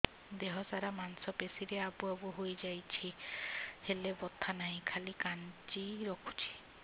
ଦେହ ସାରା ମାଂସ ପେଷି ରେ ଆବୁ ଆବୁ ହୋଇଯାଇଛି ହେଲେ ବଥା ନାହିଁ ଖାଲି କାଞ୍ଚି ରଖୁଛି